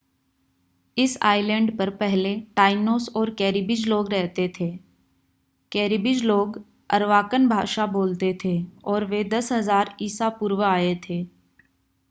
इस आइलैंड पर पहले टाइनोस और कैरिबीज़ लोग रहते थे कैरिबीज़ लोग अरवाकन भाषा बोलते थे और वे 10,000 ईसा पूर्व आए थे